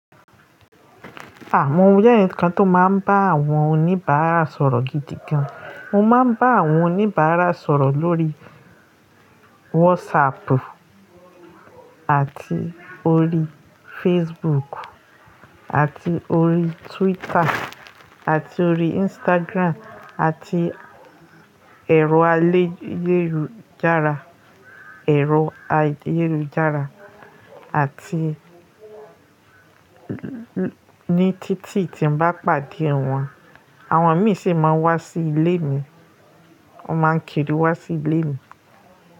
Àmọ ojẹ́ ǹkan tó máa ń bá àwọn oníbàárà sọ̀rọ̀ gidi gan. Mo máa ń bá àwọn oníbàárà sọ̀rọ̀ lórí WhatsApp àti orí Facebook, àti orí Twitter, àti orí Instagram, àti ẹ̀rọ ayélujára, ẹ̀rọ ayélujára àti ní títì tí n bá pàdé wọn, àwọn míi sì máa ń wá sí ilé mi, wọ́n máa ń kiri wá sí ilé mi.